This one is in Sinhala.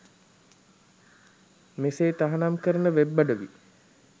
මෙසේ තහනම් කරන වෙබ් අඩවි